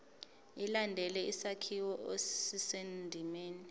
ilandele isakhiwo esisendimeni